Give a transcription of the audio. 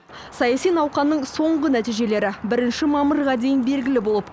саяси науқанның соңғы нәтижелері бірінші мамырға дейін белгілі болып